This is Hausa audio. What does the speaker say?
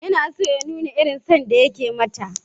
Yana son ya nuna irin son da yake mata.